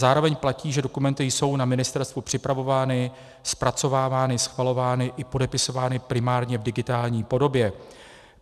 Zároveň platí, že dokumenty jsou na ministerstvu připravovány, zpracovávány, schvalovány i podepisovány primárně v digitální podobě.